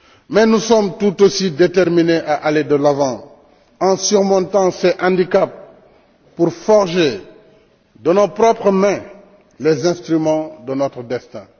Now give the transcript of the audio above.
Mais nous sommes tout aussi déterminés à aller de l'avant en surmontant ce handicap pour forger, de nos propres mains, les instruments de notre destin.